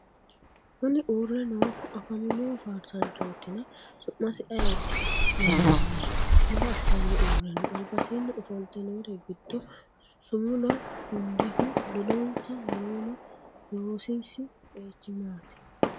Kunni uure noohu afamino faarsaanchootinna su'masi ayiti yinanni? Maa assanni uure no? Albasiinni ofolte noori gido sumulo shudehu ledonsa noonna loosisi qeechi maati?